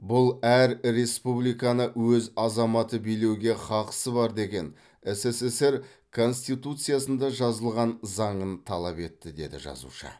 бұл әр республиканы өз азаматы билеуге қақысы бар деген ссср конституциясында жазылған заңын талап етті деді жазушы